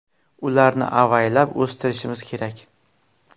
Ularni avaylab o‘stirishimiz kerak.